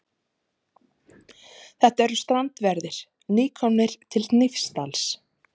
Þetta eru strandverðir, nýkomnir til Hnífsdals.